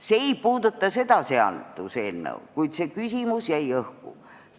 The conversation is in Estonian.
See ei puuduta seda seaduseelnõu, kuid see küsimus jäi õhku.